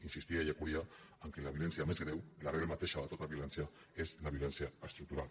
insistia ellacuría que la violència més greu i la regla mateixa de tota violència és la violència estructural